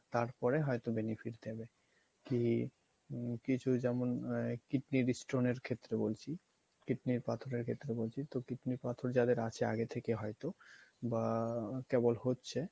তারপরে হয়তো benefit দিবে। কী হম কিছুই যেমন kidney এর stone এর ক্ষেত্রে বলছি kidney পাথর এর ক্ষেত্রে বলছি তো kidney পাথর যাদের আছে আগে থেকে হয়তো বা কেবল হচ্ছে